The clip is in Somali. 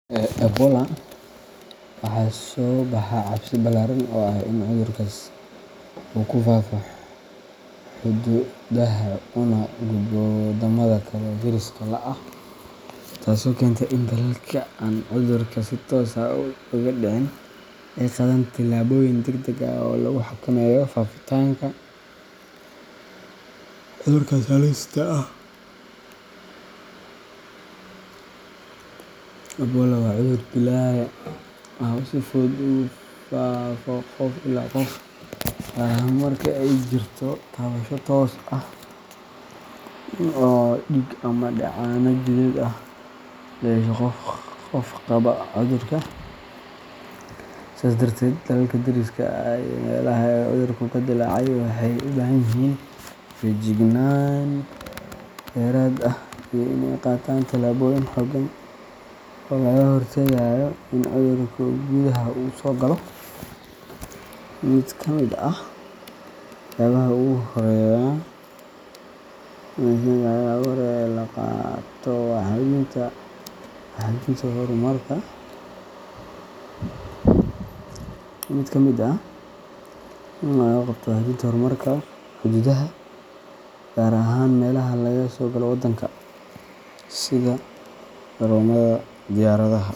Ebola, waxaa soo baxa cabsi ballaaran oo ah in cudurkaas uu ku faafo xuduudaha una gudbo waddamada kale ee deriska la ah, taasoo keenta in dalalka aan cudurka si toos ah uga dhicin ay qaadaan tallaabooyin degdeg ah oo lagu xakameynayo faafitaanka cudurkaas halista ah. Ebola waa cudur dilaaga ah oo si fudud ugu faafo qof ilaa qof, gaar ahaan marka ay jirto taabasho toos ah oo dhiig ama dheecaanno jidheed ah la yeesho qof qaba cudurka. Sidaas darteed, dalalka deriska la ah meelaha uu cudurku ka dillaacay waxay u baahan yihiin feejignaan dheeraad ah iyo in ay qaataan tallaabooyin xooggan oo looga hortagayo in cudurka gudaha u soo galo. Mid ka mid ah waxyaabaha ugu horreeya ee la qabto waa xoojinta kormeerka xuduudaha, gaar ahaan meelaha laga soo galo waddanka sida garoomada diyaaradaha.